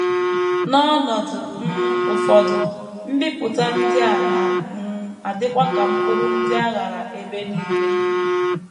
N’ọnọdụ um ụfọdụ, mbipụta ndị a na um - adịkwa ka mkpụrụ ndị a ghara ebe nile.